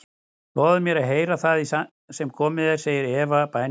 Lofaðu mér að heyra það sem komið er, segir Eva í bænarrómi.